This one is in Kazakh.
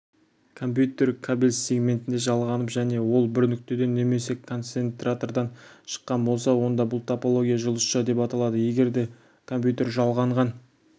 компьютер кабель сегментінде жалғанып және ол бір нүктеден немесе концентратордан шыққан болса онда бұл топология жұлдызша деп аталады егер де компьютер жалғанған